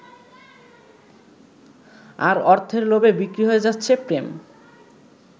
আর অর্থের লোভে বিক্রি হয়ে যাচ্ছে প্রেম।